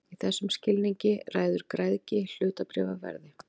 Í þessum skilningi ræður græðgi hlutabréfaverði.